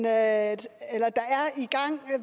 at